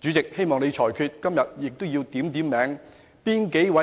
主席，我希望你作出裁決，而且今天也應把